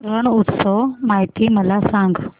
रण उत्सव माहिती मला सांग